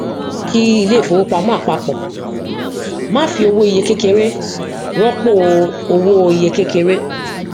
kí ilé ifówopàmọ àpapọ má fi owó iye kékeré rọpò owó iye kékeré